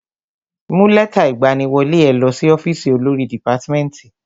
Mú lẹ́tà ìgbaniwọlé ẹ lọ sí ọ́fìsì olórí dìpátmẹ́tì.